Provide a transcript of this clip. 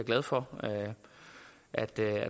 glad for at der er